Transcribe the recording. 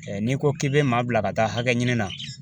n'i ko k'i bɛ maa bila ka taa hakɛ ɲini na